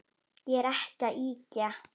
Ég er ekki að ýkja.